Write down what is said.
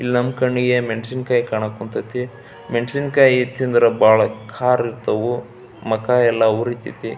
ಇಲ್ಲಿ ನಮ್ಮ ಕಣ್ಣಿಗೆ ಮೆಣಸಿನಕಾಯಿ ಕಾಣಾಕ್ ಕುಂತೈತಿ. ಮೆಣಸಿನಕಾಯಿ ತಿಂದರೆ ಭಾಳ ಖಾರ ಇರ್ತವು ಮಕ ಎಲ್ಲ ಉರಿತೈತಿ.